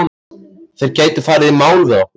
Þeir gætu farið í mál við okkur.